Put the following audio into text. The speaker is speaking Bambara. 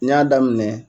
N y'a daminɛ